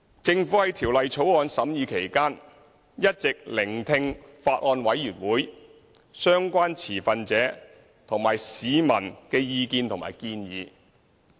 政府在《條例草案》審議期間，一直聆聽法案委員會、相關持份者和市民的意見和建議。